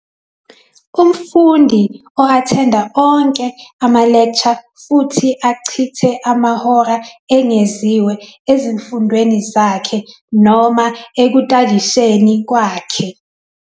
Umfundi o-athenda onke ama-lecture futhi achithe amahora engeziwe ezifundweni zakhe noma ekudadisheni kwakhe.